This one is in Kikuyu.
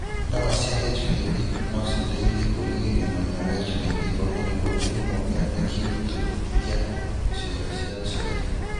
Ndawa cia HPV nociteithie kũrĩgĩrĩria mũrimũ wa HPV ũrĩa nĩguo kĩhumo kĩa gĩutũ kĩa ciĩga cia ũciari.